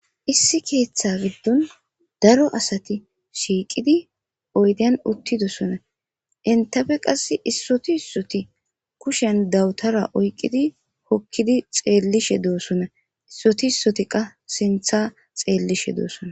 issi keeththa giddon daro asati shiiqidi oyden uttidosona intafe qass issoti issoti kushen dawutara oyqqidi hokkidi xeellishe doosonna issoti issoti qa sintha xeellishe doosona